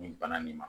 Nin bana nin ma